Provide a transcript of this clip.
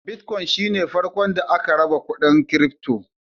Bitcoin shi ne farkon da aka raba kuɗin kirifto.